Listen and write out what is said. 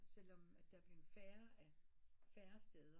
Selvom der er blevet færre af færre steder